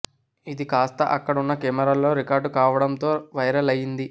ఇది కాస్తా అక్కడ ఉన్న కెమెరాల్లో రికార్డు కావడంతో వైరల్ అయింది